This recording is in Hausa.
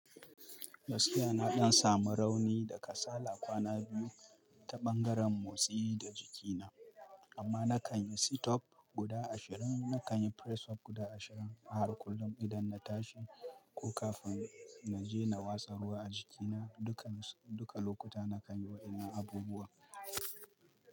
Gaskiya na ɗan samu rauni da kasala kwana biyu, ta ɓangaren motsi da jikina amma nakan yi sittup guda ashirin nakan yi press-up guda ashirin a har kullum idan na tashi ko kafin na je na watsa ruwa a jikina. Duka lokuta nakan yi waƴannan abubuwan.